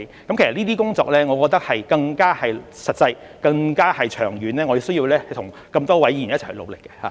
我認為這些工作更實際、更長遠，我們需要與眾多議員一起努力。